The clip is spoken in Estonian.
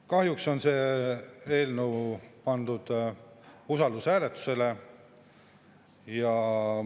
Kahjuks on see eelnõu pandud usaldushääletusele.